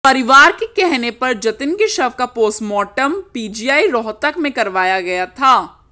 परिवार के कहने पर जतिन के शव का पोस्टमार्टम पीजीआई रोहतक में करवाया गया था